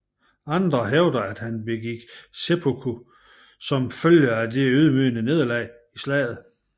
Andre hævder at han begik seppuku som følge af det ydmygende nederlag i slaget